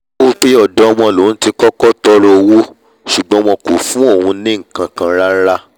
ó wípé ọ̀dọ̀ wọn lòun ti kọ́kọ́ tọọrọ owó ṣùgbọ́n wọn kò fún òun ní nkankan rara